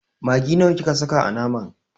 Maggi nawa kika saka a naman?